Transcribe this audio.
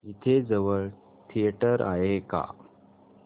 इथे जवळ थिएटर आहे का